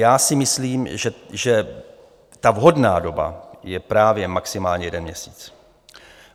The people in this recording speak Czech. Já si myslím, že ta vhodná doba je právě maximálně jeden měsíc.